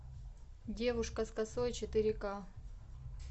девушка с косой четыре к